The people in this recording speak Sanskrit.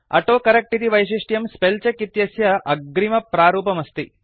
ऑटोकरेक्ट इति वैशिष्ट्यं स्पेल् चेक् इत्यस्य अग्रिमप्रारूपमस्ति